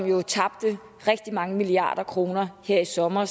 jo tabte rigtig mange milliarder kroner her i sommer